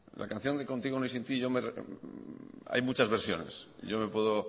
la canción de ni contigo ni sin ti hay muchas versiones yo me puedo